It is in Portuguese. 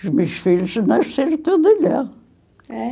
Os meus filhos nasceram tudo lá. É?